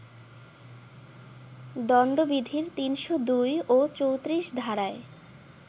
দণ্ডবিধির ৩০২ ও ৩৪ ধারায়